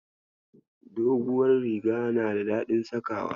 Duguwar riga na da daɗin sakawa.